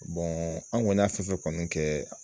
an kɔni y'a fɛn fɛn kɔni kɛ